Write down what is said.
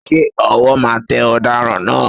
Ṣé ọwọ́ máa tẹ Ọ̀daràn náà?